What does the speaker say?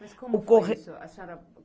O correio. Mas como foi isso? A senhora.